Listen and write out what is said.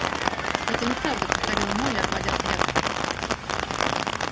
это неправда повторила молли отводя взгляд